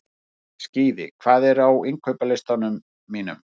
Skíði, hvað er á innkaupalistanum mínum?